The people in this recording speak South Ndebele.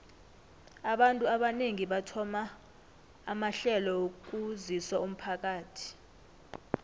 abantu abanengi bathoma amahlelo wokusizo umphakathi